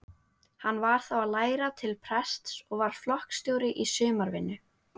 Hann var þá að læra til prests og var flokksstjóri í sumarvinnu.